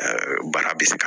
baara bɛ se ka